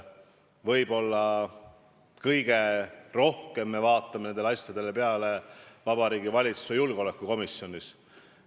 Võib-olla kõige rohkem vaatame me neid asju Vabariigi Valitsuse julgeolekukomisjonis.